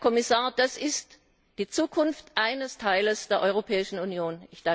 Herr Kommissar, das ist die Zukunft eines Teils der Europäischen Union!